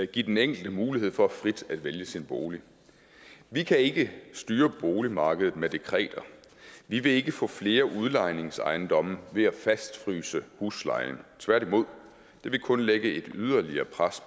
give den enkelte mulighed for frit at vælge sin bolig vi kan ikke styre boligmarkedet med dekreter vi vil ikke få flere udlejningsejendomme ved at fastfryse huslejen tværtimod det vil kunne lægge et yderligere pres